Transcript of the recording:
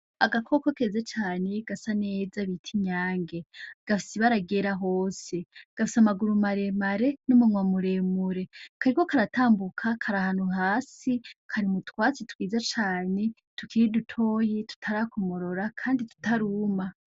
Agakoko keza cane gasa neza bita inyange, gafise ibara ryera hose, gafise amaguru maremare n'umunwa muremure, kariko karatambuka kari ahantu hasi, kari m'utwatsi twiza cane tukiri dutoyi tutarakomorora kandi tutaruma.